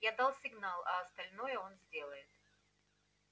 я дал сигнал а остальное он сделает